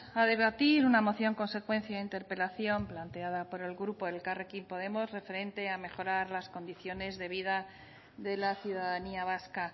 a debatir una moción consecuencia de interpelación planteada por el grupo elkarrekin podemos referente a mejorar las condiciones de vida de la ciudadanía vasca